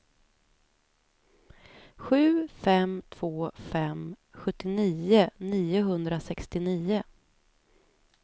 sju fem två fem sjuttionio niohundrasextionio